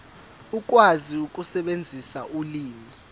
ukwazi ukusebenzisa ulimi